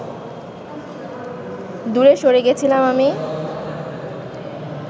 দূরে সরে গেছিলাম আমি